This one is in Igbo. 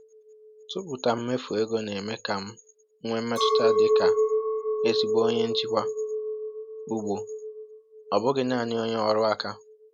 tụpụta mmefu ego na-eme ka m nwee mmetụta dị ka ezigbo onye njikwa ugbo, ọ bụghị naanị onye ọrụ aka